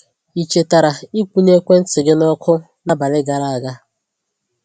Ị chetara ị kwụnye ekwentị gị nọkụ n’abalị gara aga?